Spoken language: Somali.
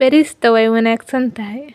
Beerista waa wanaagsan tahay.